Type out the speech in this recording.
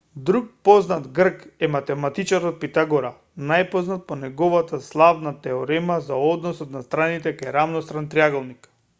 друг познат грк е математичарот питагора најпознат по неговата славна теорема за односот на страните кај рамностран триаголник